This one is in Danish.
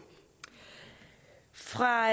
fra